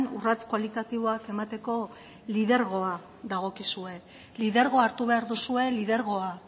urrats kualitatiboak emateko lidergoa dagokizue lidergoa hartu behar duzue lidergoa